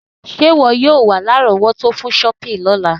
Sé wọ yio wa lárọ̀wọ́tó fun shopping lọ́la